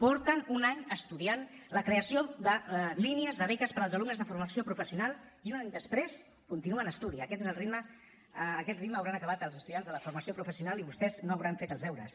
porten un any estudiant la creació de línies de beques per als alumnes de formació professional i un any després continua en estudi a aquest ritme hauran acabat els estudiants de la formació professional i vostès no hauran fet els deures